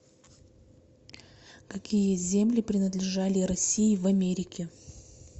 какие земли принадлежали россии в америке